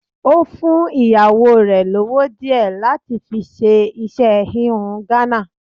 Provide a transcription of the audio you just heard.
Ó fún ìyàwó rẹ̀ lówó díẹ̀ láti fi ṣe iṣẹ́ híhun Ghana.